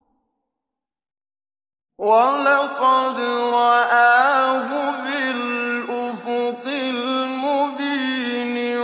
وَلَقَدْ رَآهُ بِالْأُفُقِ الْمُبِينِ